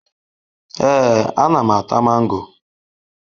Ee, ana m ata mango.